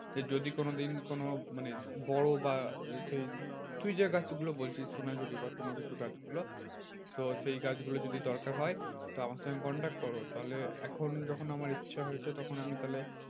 যে যদি কোনোদিন কোনো মানে বড় বা সেই তুই যে গাছ গুলো বলছিস সোনাঝুরি বা কোনোকিছু গাছগুলো তো সেই গাছগুলো যদি দরকার হয় তো আমার সঙ্গে contact করো। তাহলে এখন যখন আমার ইচ্ছা হয়েছে তখন আমি তাহলে